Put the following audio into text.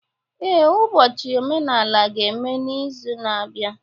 Ee, ụbọchị omenala ga-eme n'izu na-abịa